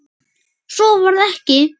Svo varð ekki.